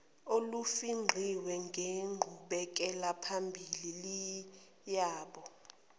olufingqiwe ngenqubekelaphambili yabo